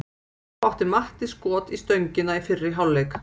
Þá átti Matti skot í stöngina í fyrri hálfleik.